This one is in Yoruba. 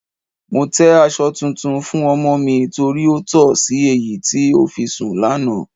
Mo tẹ́ aṣọ tuntun fún ọmọ mi torí ó tọ̀ sí èyí tí ó fi sùn lánàá.